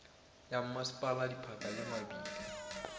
ya mmasepala diphaka le mabitla